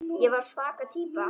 Ég var svaka týpa.